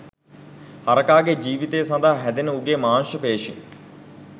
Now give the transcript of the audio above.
හරකාගේ ජීවිතය සඳහා හැදෙන උගේ මාංශ පේශීන්